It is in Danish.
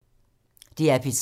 DR P3